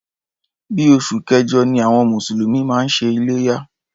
Bí oṣù kẹjọ ni àwọn mùsùlùmí máa ń ṣe iléyá.